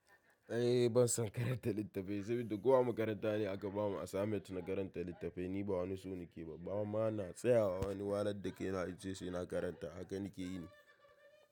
Eh ban son karanta littafai saboda ko a makaranta ne aka bamu assignment na karanta littafai. Ni ba wani so nake ba, ba ma na tsayawa wani wahalad da kai na in ce sai na karanta haka nake yi.